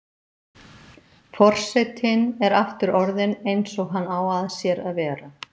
Forsetinn er aftur orðinn eins og hann á að sér að vera.